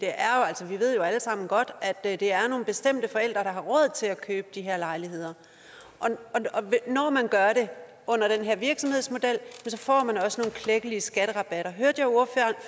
ved jo alle sammen godt at det er nogle bestemte forældre der har råd til at købe de her lejligheder og når man gør det under den her virksomhedsmodel så får man også nogle klækkelige skatterabatter